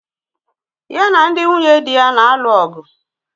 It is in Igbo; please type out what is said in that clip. Ya na ndị nwunye dị ya na-alụ ọgụ